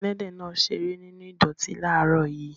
Ẹlẹ́dẹ̀ náà ṣeré nínú ìdọ̀tí láàárọ̀ yìí.